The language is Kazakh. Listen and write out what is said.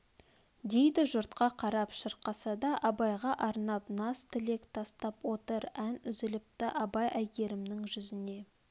дейді жұртқа қарап шырқаса да абайға арнап наз тілек тастап отыр ән үзіліпті абай әйгерімнің жүзіне